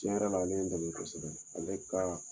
Tiɲɛ yɛrɛ la ale ye n dɛmɛ kosɛbɛ ale ka